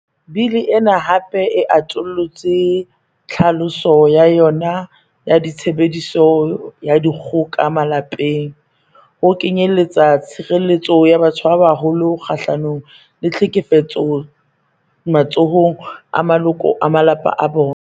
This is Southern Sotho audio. Bili ena hape e atollotse tlhaloso ya yona ya 'tshebediso ya dikgoka malapeng' ho kenyelletsa tshire-lletso ya batho ba baholo kga-hlanong le tlhekefetso matsohong a maloko a malapa a bona.